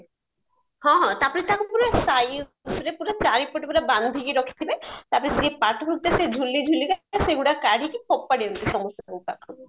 ହଁ ହଁ ତାପରେ ତାକୁ ପୁରା sizeରେ ପୁରା ଚାରିପଟୁ ପୁରା ବାନ୍ଧିକି ରଖିଥିବେ ତାପରେ ଝୁଲି ଝୁଲିକା ସେଗୁଡା କାଢିକି ଫୋପାଡି ଦିଅନ୍ତି ସମସ୍ତଙ୍କ ପାଖକୁ